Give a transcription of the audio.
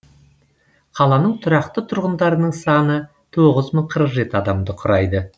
қаланың тұрақты тұрғындарының саны тоғыз мың қырық жеті адамды құрайды